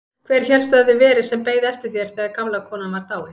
Hver hélstu að það hefði verið sem beið eftir þér þegar gamla konan var dáin?